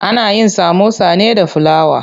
Ana yin samosa ne da fulawa.